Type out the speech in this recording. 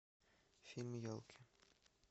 фильм елки